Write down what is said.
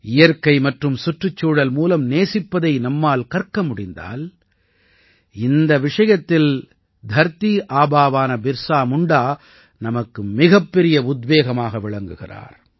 இயற்கை மற்றும் சுற்றுச்சூழல் மூலம் நேசிப்பதை நம்மால் கற்க முடிந்தால் இந்த விஷயத்தில் தர்தி ஆபாவான பிர்ஸா முண்டா நமக்கு மிகப்பெரிய உத்வேகமாக விளங்குகிறார்